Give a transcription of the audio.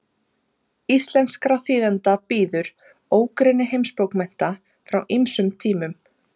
íslenskra þýðenda bíður ógrynni heimsbókmennta frá ýmsum tímum